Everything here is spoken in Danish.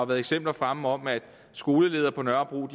været eksempler fremme om at skoleledere på nørrebro